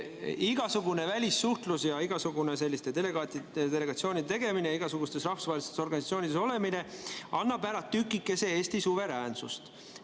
Igasugune välissuhtlus, igasuguste delegatsioonide tegemine ja igasugustes rahvusvahelistes organisatsioonides olemine annab ära tükikese Eesti suveräänsust.